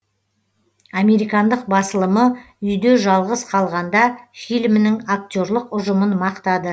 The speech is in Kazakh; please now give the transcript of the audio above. американдық басылымы үйде жалғыз қалғанда фильмінің актерлік ұжымын мақтады